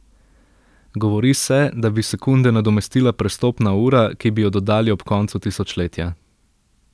Govori se, da bi sekunde nadomestila prestopna ura, ki bi jo dodali ob koncu tisočletja.